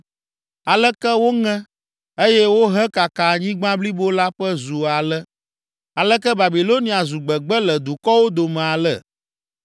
Aleke woŋe, eye wohekaka anyigba blibo la ƒe zu ale! Aleke Babilonia zu gbegbe le dukɔwo dome ale!